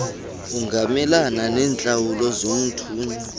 ungamelana neentlawulo zomthunywa